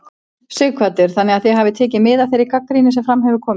Sighvatur: Þannig að þið hafið tekið mið af þeirri gagnrýni sem fram hefur komið?